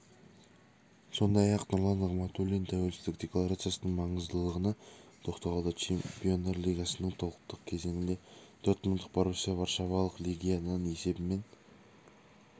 сондай-ақ нұрлан нығматуллин тәуелсіздік декларациясының маңыздылығына тоқталды чемпиондар лигасыныің топтық кезеңінде дормундтық боруссия варшавалық легиядан есебімен